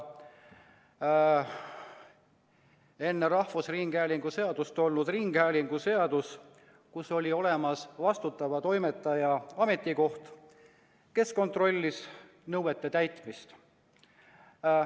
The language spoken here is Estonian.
Enne rahvusringhäälingu seadust kehtinud ringhäälinguseaduse järgi oli olemas vastutava toimetaja ametikoht, kes kontrollis nõuete täitmist.